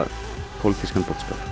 pólitískan boðskap